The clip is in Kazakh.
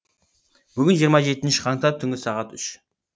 бүгін жиырма жетнші қаңтар түнгі сағат үш